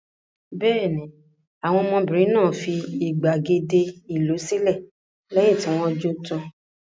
Bẹ́ẹ̀ ni, àwọn ọmọbìnrin náà fi ìgbàgede ìlú sílẹ̀ lẹ́yìn tí wọ́n jó tán.